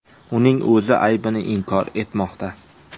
Uning o‘zi aybini inkor etmoqda.